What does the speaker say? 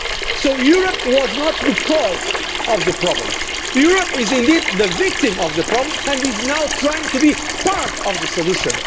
So Europe was not the cause of the problem, Europe is indeed the victim of the problem and is now trying to be part of the solution.